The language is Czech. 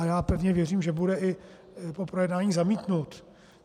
A já pevně věřím, že bude i po projednání zamítnut.